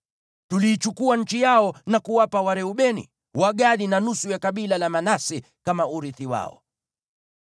Tuliichukua nchi yao na kuwapa Wareubeni, Wagadi na nusu ya kabila la Manase kama urithi wao.